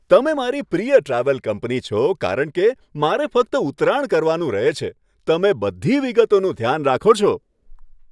તમે મારી પ્રિય ટ્રાવેલ કંપની છો કારણ કે મારે ફક્ત ઉતરાણ કરવાનું રહે છે. તમે બધી વિગતોનું ધ્યાન રાખો છો.